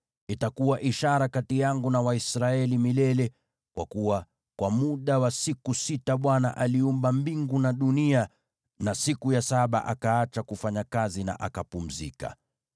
Itakuwa ishara kati yangu na Waisraeli milele, kwa kuwa kwa muda wa siku sita Bwana aliumba mbingu na dunia, na siku ya saba akaacha kufanya kazi, akapumzika.’ ”